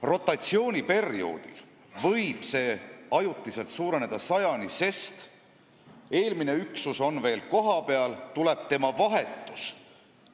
Rotatsiooniperioodil võib see arv ajutiselt suureneda 100-ni, sest eelmine üksus on veel kohapeal, kui saabub tema vahetus.